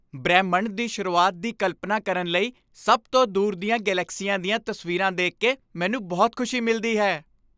ਬ੍ਰਹਿਮੰਡ ਦੀ ਸ਼ੁਰੂਆਤ ਦੀ ਕਲਪਨਾ ਕਰਨ ਲਈ ਸਭ ਤੋਂ ਦੂਰ ਦੀਆਂ ਗਲੈਕਸੀਆਂ ਦੀਆਂ ਤਸਵੀਰਾਂ ਦੇਖ ਕੇ ਮੈਨੂੰ ਬਹੁਤ ਖ਼ੁਸ਼ੀ ਮਿਲਦੀ ਹੈ।